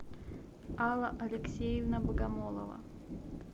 алла алексеевна богомолова